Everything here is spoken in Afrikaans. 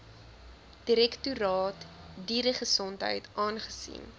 direktoraat dieregesondheid aangesien